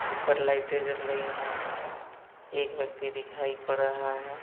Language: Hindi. ऊपर लाइटे जल रही हैं| एक व्यक्ति दिखाई पड़ रहा है।